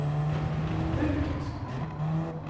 mulkt